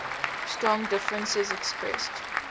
strong differences expressed